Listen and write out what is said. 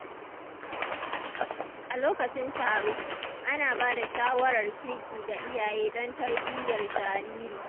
A lokacin taro, ana ba da shawarar kirki ga iyaye don tarbiyyar jariri.